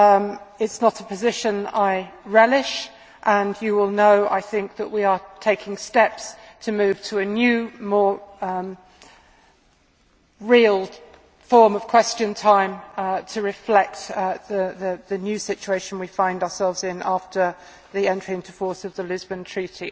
It is not a position I relish, and you will know, I think, that we are taking steps to move to a new more real form of Question Time to reflect the new situation we find ourselves in after the entry into force of the Lisbon Treaty.